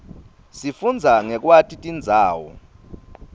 sifundza ngekwati tindzawo